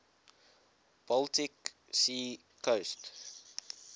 baltic sea coast